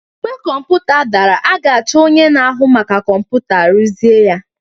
Mgbe kọmputa dara, a ga-achọ ka onye na-ahụ maka kọmputa rụzie ya